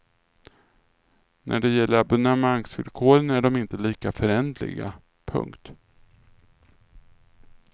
När det gäller abonnemangsvillkoren är de inte lika föränderliga. punkt